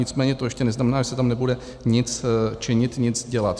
Nicméně to ještě neznamená, že se tam nebude nic činit, nic dělat.